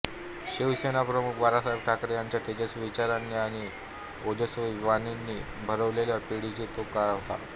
शिवसेनाप्रमुख बाळासाहेब ठाकरे यांच्या तेजस्वी विचारांनी आणि ओजस्वी वाणीने भारावलेल्या पिढीचा तो काळ होता